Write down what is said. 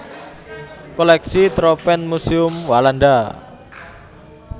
Kolèksi Tropenmuseum Walanda